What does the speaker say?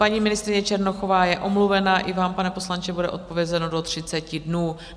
Paní ministryně Černochová je omluvena, i vám, pane poslanče, bude odpovězeno do 30 dnů.